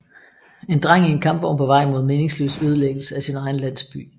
En dreng i en kampvogn på vej mod meningsløs ødelæggelse af sin egen landsby